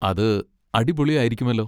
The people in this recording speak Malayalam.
അത് അടിപൊളി ആയിരിക്കുമല്ലോ!